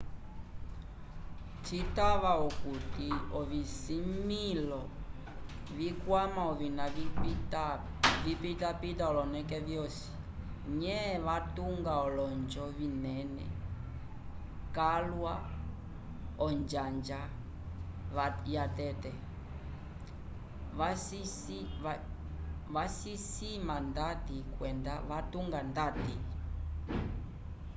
citava okuti ovisimĩlo vikwama ovina vipitapita oloneke vyosi nye vatunga olonjo vinene calwa onjanja yatete vacisima ndati kwenda vacitunga ndati